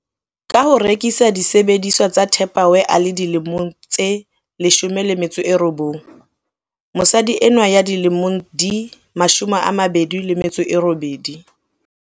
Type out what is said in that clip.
Ka ho rekisa disebediswa tsa Tupperware a le dilemo tse 19, mosadi enwa ya dilemo di 28